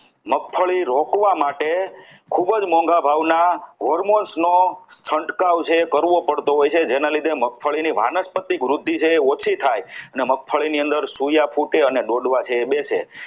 મગફળી રોકવા માટે ખૂબ જ મોંઘા ભાવના hormones નો છંટકાવ છે જે કરવું પડતું હોય છે જેના લીધે મગફળીની વાનસ્પતિક વૃદ્ધિ છે તે ઓછી થાય અને મગફળી ની અંદર સોયા ફૂટે અને છોડવા છે તે બેસે